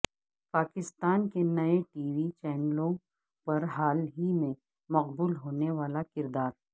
پاکستان کے نئے TV چینلوں پر حال ہی میں مقبول ہونے والا کردار